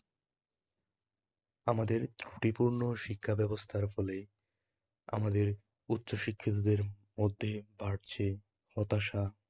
আমাদের ত্রুটিপূর্ণ শিক্ষাব্যবস্থার ফলে আমাদের উচ্চশিক্ষকদের মধ্যে বাড়ছে হতাশা